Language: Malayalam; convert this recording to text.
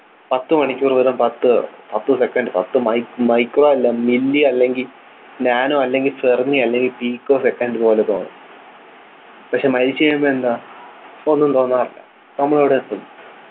പത്തു മണിക്കൂർ വെറും പത്തു പത്തു second പത്തു mic micro അല്ല പത്തു milli അല്ലെങ്കി nano അല്ലെങ്കിൽ fermi അല്ലെങ്കിൽ pico second പോലെ തോന്നും പക്ഷേ മരിച്ചുകഴിയുമ്പോ എന്താ ഒന്നും തോന്നാറില്ല നമ്മൾ എവിടെ എത്തും